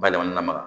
Balima lamaga